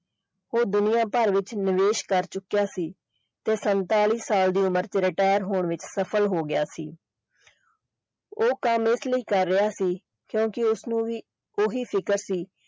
ਉਹ ਦੁਨੀਆ ਭਰ ਵਿੱਚ ਨਿਵੇਸ਼ ਕਰ ਚੁੱਕਿਆ ਸੀ ਤੇ ਸੰਤਾਲੀ ਸਾਲ ਦੀ ਉਮਰ ਵਿੱਚ retire ਹੋਣ ਵਿੱਚ ਸਫਲ ਹੋ ਗਿਆ ਸੀ ਉਹ ਕੰਮ ਇਸ ਲਈ ਕਰ ਰਿਹਾ ਸੀ ਕਿਉਂਕਿ ਉਸਨੂੰ ਵੀ ਓਹੀ ਸ਼ਿਕਰ ਸੀ।